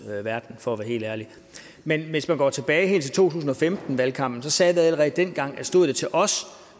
verden for at være helt ærlig men hvis man går helt tilbage til to tusind og femten valgkampen sagde jeg allerede dengang at stod det til os